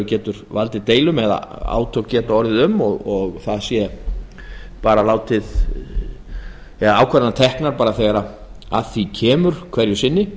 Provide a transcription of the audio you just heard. getur valdið deilum eða átök geta orðið um þær ákvarðanir verður bara að taka þegar að því kemur hverju sinni